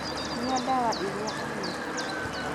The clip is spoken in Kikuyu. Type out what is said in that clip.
Nyua ndawa iria uhetwo